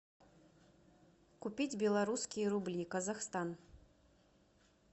купить белорусские рубли казахстан